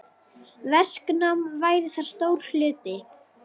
Verknám væri þar stór hluti.